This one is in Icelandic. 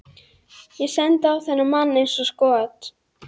Ég sendi á þennan mann eins og skot.